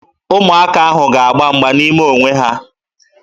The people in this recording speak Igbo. Ụmụaka ahụ ga-agba mgba n'ime onwe ha